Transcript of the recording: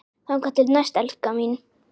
Þangað til næst, elskan mín.